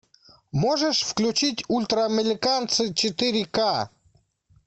можешь включить ультра американцы четыре к